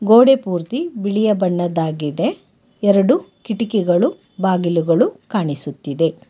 ಗೋಡೆ ಪೂರ್ತಿ ಬಿಳಿಯ ಬಣ್ಣದ್ದಾಗಿದೆ ಎರಡು ಕಿಟಕಿಗಳು ಬಾಗಿಲುಗಳು ಕಾಣಿಸುತ್ತಿದೆ.